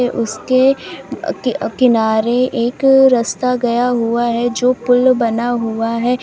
उसके अ की अ किनारे एक रस्ता गया हुआ है जो पुल बना हुआ है।